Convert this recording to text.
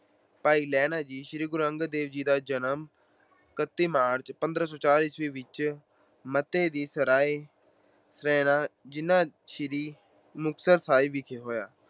ਭਾਈ ਲਹਿਣਾ ਜੀ, ਸ੍ਰੀ ਗੁਰੂ ਅੰਗਦ ਦੇਵ ਜੀ ਦਾ ਜਨਮ ਇਕਤੀ ਮਾਰਚ, ਪੰਦਰਾਂ ਸੌ ਚਾਰ ਈਸਵੀ ਵਿੱਚ ਮੱਤੇ ਦੀ ਸਰਾਏ, ਜ਼ਿਲ੍ਹਾ ਸ੍ਰੀ ਮੁਕਤਸਰ ਸਾਹਿਬ ਵਿਖੇ ਹੋਇਆ।